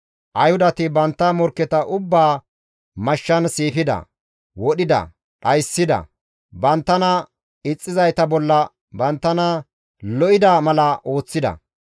Ayhudati bantta morkketa ubbaa mashshan siifida, wodhida, dhayssida, banttana ixxizayta bolla banttana lo7ida mala ooththida.